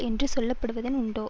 என்று சொல்ல படுவனவும் உண்டோ